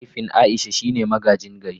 Mahaifin Aisha shine magaji gari.